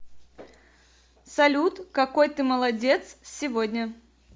салют какой ты молодец сегодня